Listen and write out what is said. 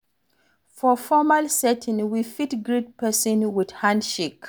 For formal setting, we fit greet person with hand shake